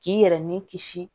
K'i yɛrɛ ni kisi